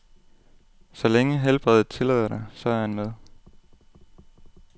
Så længe helbredet tillader det, så er han med.